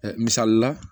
misali la